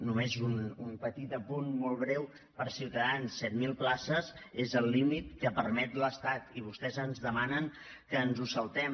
només un petit apunt molt breu per a ciutadans set mil places és el límit que permet l’estat i vostès ens demanen que ens ho saltem